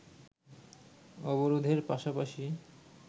অবরোধের পাশাপাশি